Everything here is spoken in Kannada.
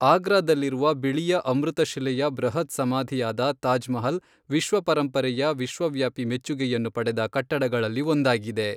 ಆಗ್ರಾದಲ್ಲಿರುವ ಬಿಳಿಯ ಅಮೃತಶಿಲೆಯ ಬೃಹತ್ ಸಮಾಧಿಯಾದ ತಾಜ್ ಮಹಲ್ ವಿಶ್ವ ಪರಂಪರೆಯ ವಿಶ್ವವ್ಯಾಪಿ ಮೆಚ್ಚುಗೆಯನ್ನು ಪಡೆದ ಕಟ್ಟಡಗಳಲ್ಲಿ ಒಂದಾಗಿದೆ.